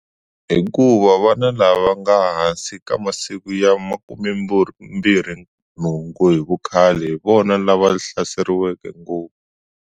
Hikuva vana lava nga hansi ka masiku ya 28 hi vukhale hi vona lava hlaseriwaka ngopfu.